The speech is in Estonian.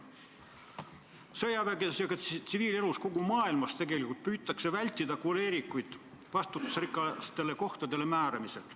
Sõjaväes ja ka tsiviilelus kogu maailmas tegelikult püütakse vältida koleerikute vastutusrikastele kohtadele määramist.